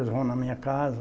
Eles vão na minha casa.